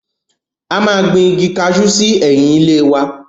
A máa gbin Igi kajú sí ẹ̀yìn ilé wa.